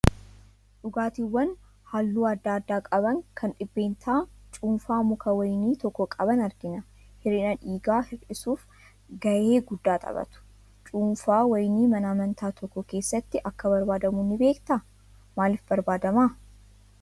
Dhugaatiiwwan halluu adda addaa qaban, kan dhibbeentaa cuunfaa muka wayinii tokko qaban argina. Hir'ina dhiigaa hir'isuuf gahee guddaa taphatu. Cuunfaan wayinii mana amantaa tokko keessatti akka barbaadamu ni beektaa? Maaliif barbaadama?